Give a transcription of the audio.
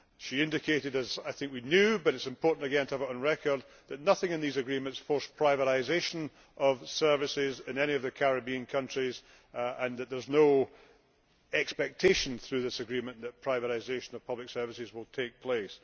She indicated as we already knew, but it was important to have it on record that nothing in these agreements forces privatisation of services in any of the Caribbean countries and that there is no expectation, through this agreement, that privatisation of public services will take place.